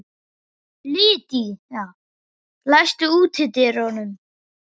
Lydia, læstu útidyrunum.